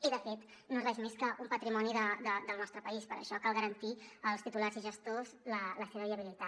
i de fet no és res més que un patrimoni del nostre país per això cal garantir als titulars i gestors la seva viabilitat